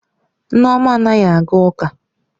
Nneoma anaghi aga uka.